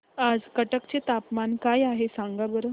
आज कटक चे तापमान काय आहे सांगा बरं